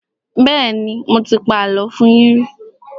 Bẹ́ẹ́nì, mo ti pa àlọ́ fún yín rí.